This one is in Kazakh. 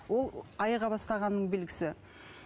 ол айыға бастағанның белгісі